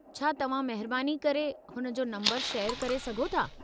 छा तव्हां महिरबानी करे हुन जो नम्बरु शेयर करे सघो था?